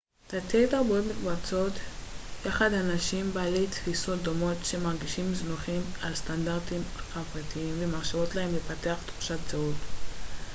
תתי-תרבויות מקבצות יחד אנשים בעלי תפיסות דומות שמרגישים זנוחים על ידי הסטנדרטים החברתיים ומאפשרות להם לפתח תחושת זהות